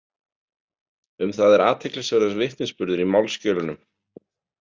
Um það er athyglisverður vitnisburður í málsskjölunum.